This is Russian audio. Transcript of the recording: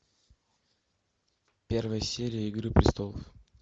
первая серия игры престолов